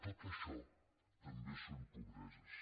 tot això també són pobreses